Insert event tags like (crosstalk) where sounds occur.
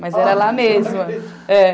Mas era lá mesmo. (laughs)